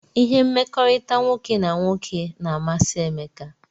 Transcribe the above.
Ihe mmekọrịta nwoke na nwoke na amasi Emeka